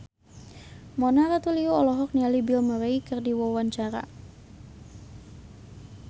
Mona Ratuliu olohok ningali Bill Murray keur diwawancara